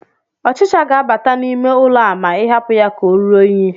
Ọchịcha ga-abata n'ime ụlọ a ma ị hapụ ya ka oruo unyi